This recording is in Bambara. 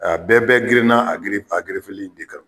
bɛɛ bɛ girinna giri a gerefeli in de kan.